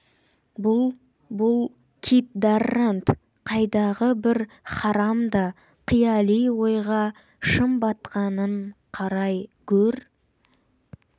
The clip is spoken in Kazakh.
бұл бұл кит даррант қайдағы бір харам да қияли ойға шым батқанын қарай гөр